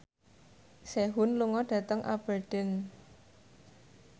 Sehun lunga dhateng Aberdeen